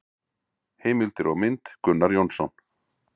Heimildir og mynd: Gunnar Jónsson.